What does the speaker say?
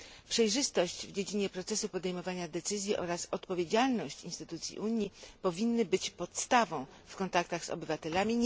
Przejrzystość w dziedzinie procesu podejmowania decyzji oraz odpowiedzialność instytucji Unii powinny być podstawą w kontaktach z obywatelami.